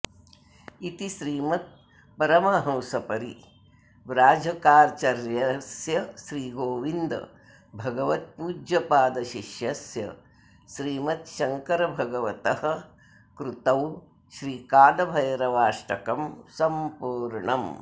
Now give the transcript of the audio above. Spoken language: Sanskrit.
इति श्रीमत्परमहंसपरिव्राजकाचर्यस्य श्रीगोविन्दभगवत्पूज्यपादशिष्यस्य श्रीमच्छङ्करभगवतः कृतौ श्री कालभैरवाष्टकं सम्पूर्णम्